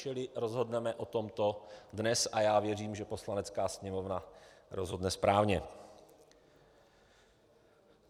- Čili rozhodneme o tom dnes a já věřím, že Poslanecká sněmovna rozhodne správně.